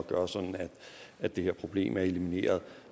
gøre sådan at det her problem elimineres